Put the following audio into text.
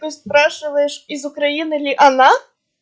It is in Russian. ты спрашиваешь из украины ли она